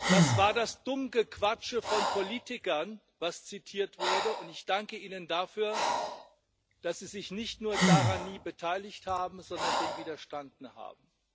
Das war das Dummgequatsche von Politikern, was zitiert wurde, und ich danke Ihnen dafür, dass Sie sich nicht nur daran nie beteiligt haben, sondern dem widerstanden haben.